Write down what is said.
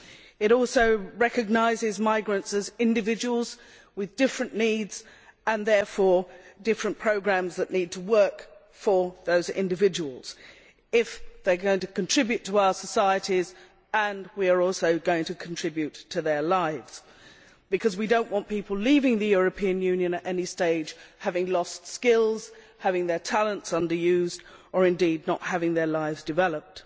It also recognises migrants as individuals, with different needs and, therefore, different programmes that need to work for those individuals if they are going to contribute to our societies and we are also going to contribute to their lives we do not want people leaving the European Union at any stage having lost skills, having their talents under used, or indeed not having their lives developed.